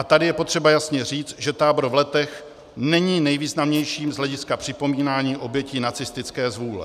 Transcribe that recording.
A tady je potřeba jasně říct, že tábor v Letech není nejvýznamnějším z hlediska připomínání obětí nacistické zvůle.